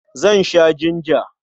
Zan sha jinja.